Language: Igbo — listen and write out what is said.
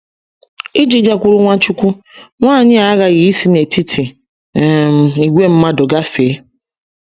Iji gakwuru Nwachukwu, nwanyị a aghaghị isi n’etiti um ìgwè mmadụ gafee.